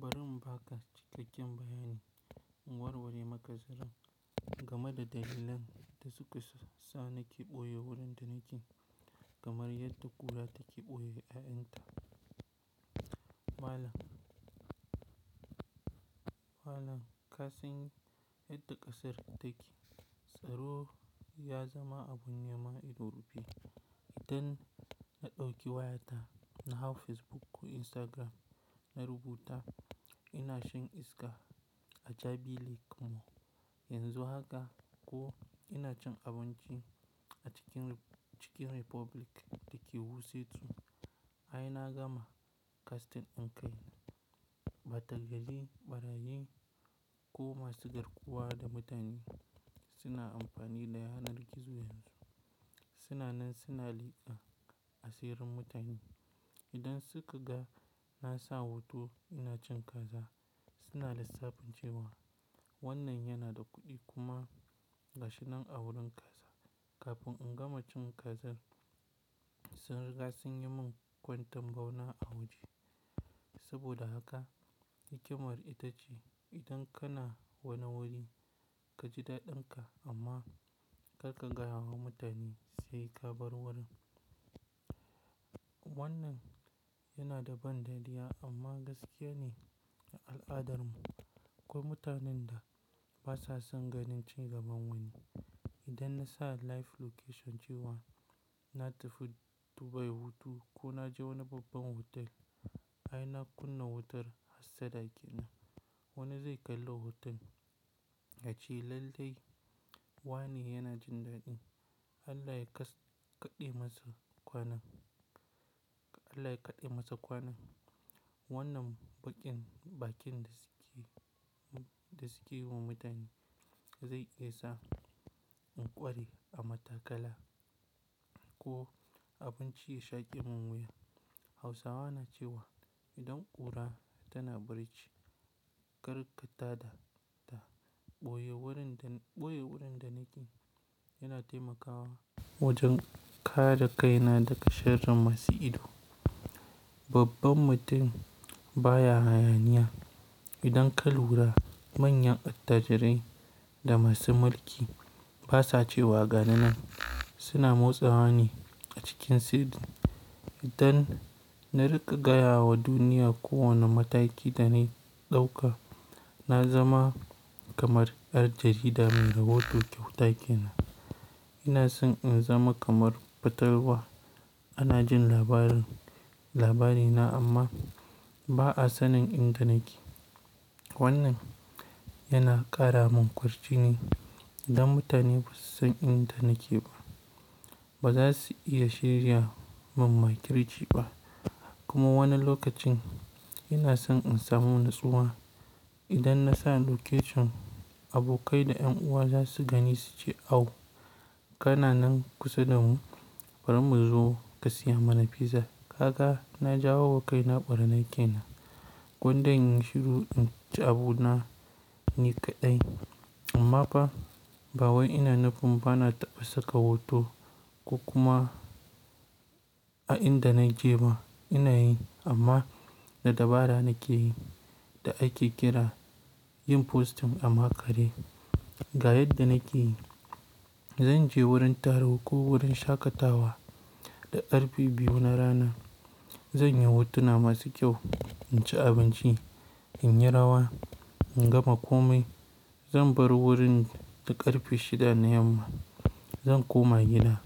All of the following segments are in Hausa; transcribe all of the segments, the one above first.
Barin ba ka cikakken bayani, in warware maka zaran game da dalilan da suka sa ka ɓoye wurin da nake kamar yadda kula da ke ɓoye ainta. Malam, malam kasan yadda ƙasar take tsaro ya zama abun nema ido rufe. Idan na ɗauki wayata na hau Facebook ko Instagram na rubuta ina shan iska a Jabi Lake Mall, yanzu haka ko ina cin abinci a cikin Chicken Republic da ke Wuse 2, ai na gama kaskantan kai na. Ɓatalgaji, ɓarayi ko masu garkuwa da mutane suna amfani da yanar gizo yanzu. Suna nan suna liƙa asirin mutane. Idan suka ga na sa hoto ina cin kaza suna lissafin cewa wannan yana da kuɗi kuma gashi nan a wurin kaza. Kafin in gama cin kazan sun riga sun yi min kwanten bauna a waje. Saboda haka hikimar ita ce idan kana wani wuri ka ji daɗin ka amma karka gaya wa mutane sai ka bar wurin. Wannan yana da ban dariya amma gaskiya ne a al'adarmu. Akwai mutanen da basa son ganin cin gaban wani. Idan na sa live location cewa na tafi Dubai hutu ko na je wani babban hotel ai na kunna wutar hassada kenan. Wane zai kalla hoton? Yace lallai wane yana jin daɗi? Allah ya kaɗe masa kwana. Allah ya kaɗe masa kwana. Wannan baƙin, baƙin da suke, da suke yi wa mutane zai iya sa in ƙware a matakala ko abinci ya shaƙe mun wuya. Hausawa na cewa idan ƙura tana bari chi, karka tada ta. Ɓoye wurin da, ɓoye wurin da nake yana taimakawa wajen kare kaina daga sharrin masu ido. Babban mutum baya hayaniya. Idan kal wura manyan attajirai da masu mulki basa cewa gani nan suna motsawa ne a cikin sidi. Idan na riƙa gaya wa duniya ko wane mataki da na yi ɗauka, na zama kamar ƴar jarida muna hoton kyauta ke nan. Ina son in zama kamar patalwa. Ana jin labarin, labarina amma ba a sanin in da nake. Wannan yana ƙara min kurci ne. Idan mutane ba su san inda nake ba baza su iya shirya man bakin ci ba. Kuma wani lokacin ina son in samu natsuwa. Idan na sa location abokai da ƴan uwa za su gani su ce, aww kana nan kusa da mu bari mu zo ka siya mana fiza. Kaga na jawo wa kai na gurmi kenan. Gwanda in shiru in ci abu na, ni kaɗai. Amma fa, bawai ina nufin bana taɓa saka hoto ko kuma a inda na je ma ina yi amma na dabara nake yi da ake kira yin postum amma kare. Ga yadda nake yi. Zan je wurin taro ko wurin shaƙatawa da karfe biyu na rana. Zan yi hotuna masu kyau, in ci abinci, in yi rawa, in gama komai. Zan bar wurin da karfe shida na yamma. Zan koma gida,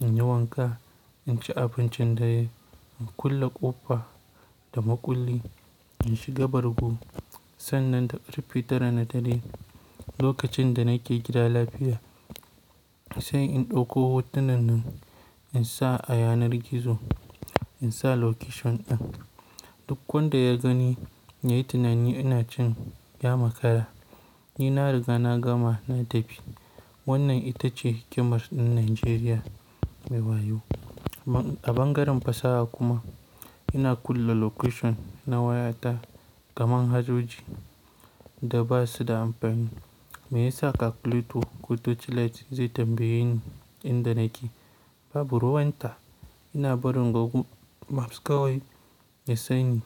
in yi wanka, in ci abincin da ya yi, in kulle ƙofa da makulli, in shiga bargo. Sannan da karfe tara na dare lokacin da nake gida lafiya sai in ɗauko hotunan nan in sa a yanar gizo, in sa location ɗin. Duk wanda ya gani ya yi tunani ina can ya makara. Ni na riga na gama na tafi. Wannan ita ce hikimar ɗin Najeriya mai wayo. A ɓangaren fasaha kuma ina kulle location na wayata kamar hajoji da basu da amfani. Meyasa ka kulleto? Ko torchlight zai tambaye ni inda nake. Babu ruwan ta. Ina barin gogu maps kawai ya sanyi.